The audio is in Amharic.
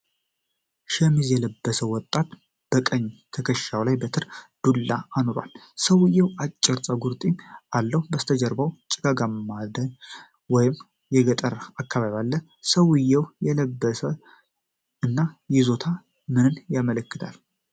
ሸሚዝ የለበሰ ወጣት በቀኝ ትከሻው ላይ በትር (ዱላ) አኑሯል። ሰውዬው አጭር ጸጉርና ጢም አለው። ከበስተጀርባ ጭጋጋማ ደን ወይም የገጠር አካባቢ አለ። የሰውየው አለባበስ እና ይዞታ ምንን ያመለክታል?